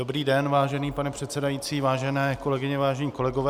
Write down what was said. Dobrý den, vážený pane předsedající, vážené kolegyně, vážení kolegové.